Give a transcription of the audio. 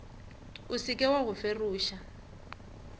o seke wa go feroša